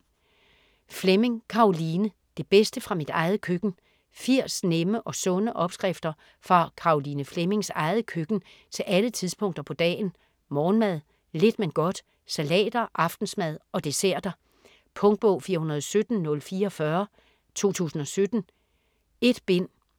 Fleming, Caroline: Det bedste fra mit eget køkken 80 nemme og sunde opskrifter fra Caroline Flemmings eget køkken til alle tidspunkter på dagen: morgenmad, lidt men godt, salater, aftensmad og desserter. Punktbog 417044 2017. 1 bind.